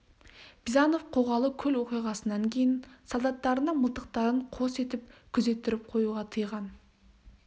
бизанов қоғалы көл оқиғасынан кейін солдаттарына мылтықтарын қос етіп күзеттіріп қоюды тыйған